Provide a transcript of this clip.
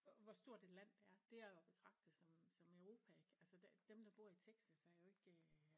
Hvor stort et land det er. Det er jo at betragte som som Europa ik altså dem der bor i Texas er jo ikke øh